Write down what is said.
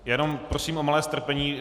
Jen prosím o malé strpení.